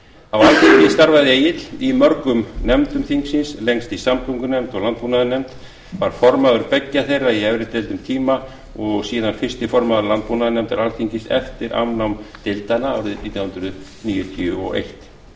á alþingi starfaði egill í mörgum nefndum þingsins lengst í samgöngunefnd og landbúnaðarnefnd var formaður beggja þeirra í efri deild um tíma og síðan fyrsti formaður landbúnaðarnefndar alþingis eftir afnám deildanna nítján hundruð níutíu og eitt